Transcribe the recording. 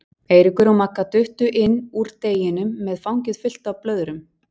Eiríkur og Magga duttu inn úr deginum með fangið fullt af blöðum.